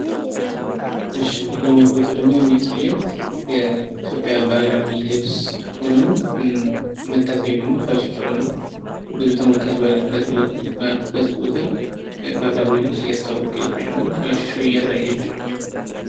እሺ ይሄኛው ፎቶ ደግሞ የሚያሳየው የኢትዮጵያ ባህላዊ ልብስ ሆኖ የምታሳያው ደግሞ ፋሽን ሾው ነው። ብዙ ተመልካች ባሉበት ቦታ ባህላዊ ልብስ እያስተዋወቀች ወይም ደግሞ ፋሽን ሾው እያሳየች ነው።